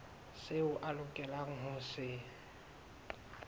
seo a lokelang ho se